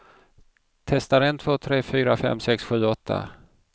Testar en två tre fyra fem sex sju åtta.